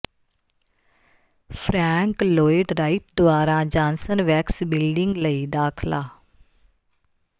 frank Lloyd Wright ਦੁਆਰਾ Johnson Wax building ਲਈ ਦਾਖਲਾ